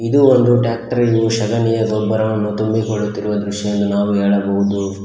ಇದು ಒಂದು ಟ್ರ್ಯಾಕ್ಟರ್ ಶಗಣಿಯ ಗೊಬ್ಬರ ತುಂಬಿಕೊಳ್ಳುವ ದೃಶ್ಯ ಎಂದು ನಾವು ಹೇಳಬಹುದು.